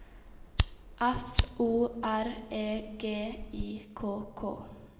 F O R E G I K K